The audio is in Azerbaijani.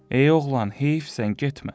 Ey oğlan, heyifsən, getmə.